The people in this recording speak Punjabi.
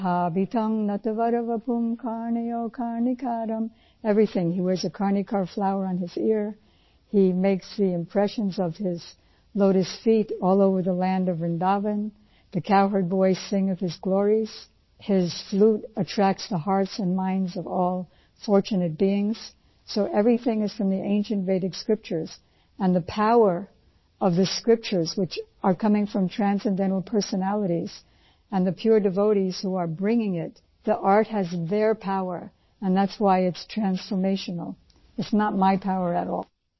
09 ਬਰਹਾਪੀਂਡ ਨਟਵਰਵਪੁ ਕਰਣਯੋ ਕਰਣੀਕਾਰੰ बर्हापींड नटवरवपुः कर्णयो कर्णिकारं everything he wears a karnika flower on his ear he makes the impression of his lotus feet all over the land of Vrindavan the cow herds voicing of his glories his flute attracts the hearts and minds of all fortunate beings so everything is from ancient Vedic scriptures and the power of these scriptures which are coming from transcendental personalities and the pure devotees who are bringing it the art has their power and that's why it's transformational it is not my power at all